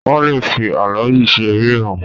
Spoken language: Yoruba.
Wọ́n lè fi álọ́ọ̀yì ṣe ríìmù.